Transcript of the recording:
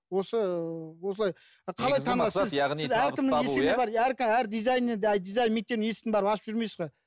осы осылай әр дизайнерді дизайн мектебін есігін барып ашып жүрмейсіз бе